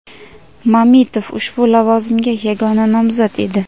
Mamitov ushbu lavozimga yagona nomzod edi.